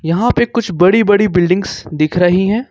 वहां पे कुछ बड़ी बड़ी बिल्डिंग्स दिख रही हैं।